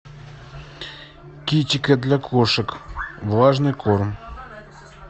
китикет для кошек влажный корм